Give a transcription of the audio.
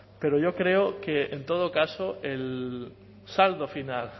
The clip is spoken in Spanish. pero yo creo que en todo caso el saldo final